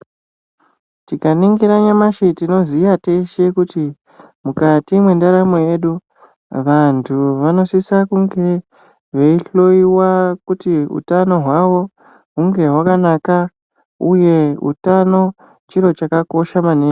Tikaningira nyamashi tinoziya teshe kuti mukati mwendaramo yedu. Vantu vanosisa kuti vange veihoiwa kuti hutano hwavo hunge hakanaka, uye utano chiro chakakosha maningi.